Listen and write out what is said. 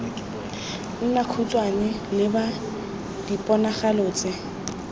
nna khutshwane leba diponagalo tse